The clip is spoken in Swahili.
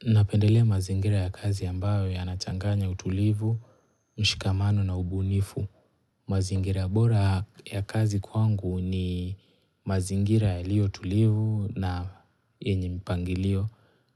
Napendelea mazingira ya kazi ambayo yanachanganya utulivu, mshikamano na ubunifu. Mazingira bora ya kazi kwangu ni mazingira yalio tulivu na yenye mpangilio.